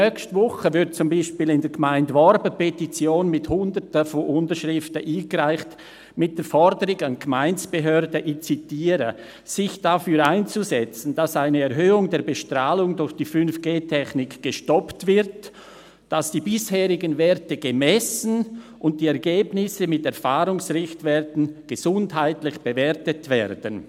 Nächste Woche wird zum Beispiel in der Gemeinde Worb eine Petition mit Hunderten von Unterschriften eingereicht, mit der Forderung an die Gemeindebehörden – ich zitiere –, «sich dafür einzusetzen, dass eine Erhöhung der Bestrahlung durch die 5G-Technik gestoppt wird, dass die bisherigen Werte gemessen und die Ergebnisse mit Erfahrungsrichtwerten gesundheitlich bewertet werden».